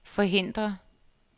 forhindre